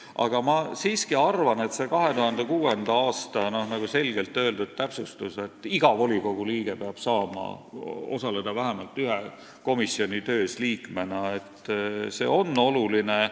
Aga ma siiski arvan, et see 2006. aastal selgelt öeldud täpsustus, et iga volikogu liige peab saama liikmena osaleda vähemalt ühe komisjoni töös, on oluline.